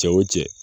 Cɛ wo cɛ